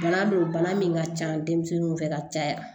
Bana bɛ bana min ka ca denmisɛnninw fɛ ka caya